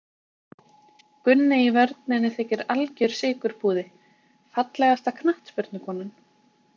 Gunni í vörninni þykir algjör sykurpúði Fallegasta knattspyrnukonan?